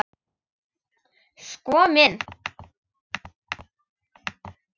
Sko minn.